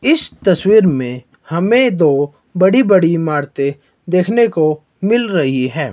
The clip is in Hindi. इस तस्वीर में हमें दो बड़ी बड़ी इमारतें देखने को मिल रही है।